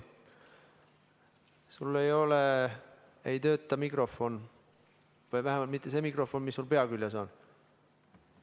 Sul ei tööta mikrofon, vähemalt mitte see mikrofon, mis sul pea küljes on.